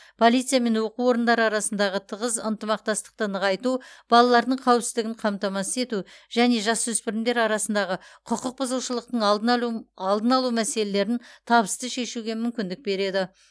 полиция мен оқу орындары арасындағы тығыз ынтымақтастықты нығайту балалардың қауіпсіздігін қамтамасыз ету және жасөспірімдер арасындағы құқық бұзушылықтың алдын алу алдын алу мәселелерін табысты шешуге мүмкіндік береді